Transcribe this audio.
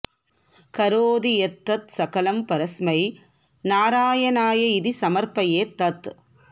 करोति यत् यत् सकलं परस्मै नारायणाय इति समर्पयेत् तत्